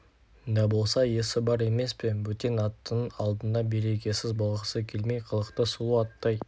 да болса есі бар емес пе бөтен аттының алдында берекесіз болғысы келмей қылықты сұлу аттай